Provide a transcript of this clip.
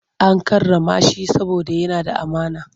An karrama shi saboda yana da amana.